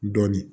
Dɔɔnin